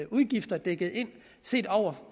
udgifter dækket ind set over